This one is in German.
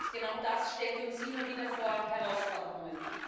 Und genau das stellt uns immer wieder vor Herausforderungen.